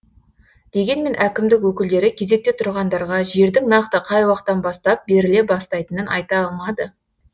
дегенмен әкімдік өкілдері кезекте тұрғандарға жердің нақты қай уақыттан бастап беріле бастайтынын айта алмады